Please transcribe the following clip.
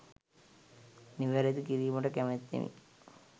නිවැරදි කිරීමට කැමැත්තෙමි